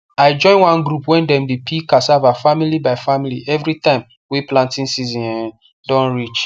i join one group wey dem dey peel cassava family by family every time wey planting season um don reach